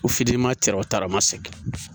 taramasege